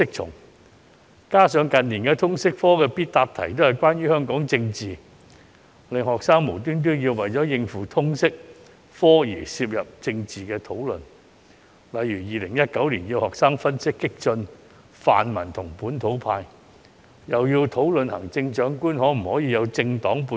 再加上近年通識科的必答題都是關於香港政治，令學生無端為了應付通識科而參與政治討論，例如2019年要求學生分析激進泛民與本土派，又要求學生討論行政長官可否有政黨背景。